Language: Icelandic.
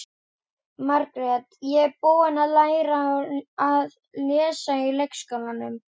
Margrét: Ég er búin að læra að lesa í leikskólanum.